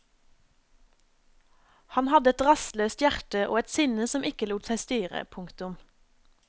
Han hadde et rastløst hjerte og et sinne som ikke lot seg styre. punktum